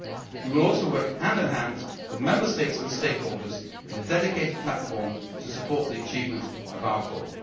We will also work hand in hand with Member States and stakeholders on a dedicated platform to support the achievement of our goal.